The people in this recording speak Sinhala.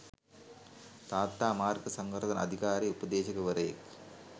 තාත්තා මාර්ග සංවර්ධන අධිකාරියේ උපදේශකවරයෙක්.